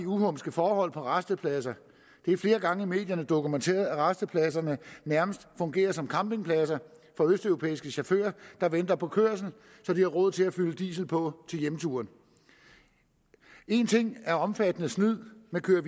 uhumske forhold på rastepladser det er flere gange i medierne dokumenteret at rastepladserne nærmest fungerer som campingpladser for østeuropæiske chauffører der venter på kørsel så de har råd til at fylde diesel på til hjemturen en ting er omfattende snyd med køre og